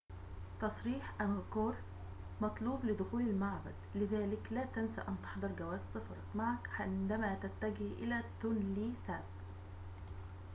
تصريح أنغكور مطلوب لدخول المعبد لذلك لا تنس أن تحضر جواز سفرك معك عندما تتجه إلى تونلي ساب